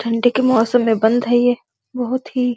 ठन्डे के मौसम में बंद है ये बहुत ही --